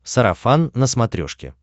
сарафан на смотрешке